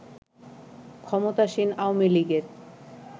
ক্ষমতাসীন আওয়ামী লীগের